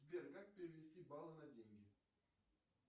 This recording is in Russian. сбер как перевести баллы на деньги